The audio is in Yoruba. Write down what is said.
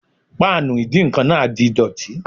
Páànù ìdíǹkan náà di dọ̀tí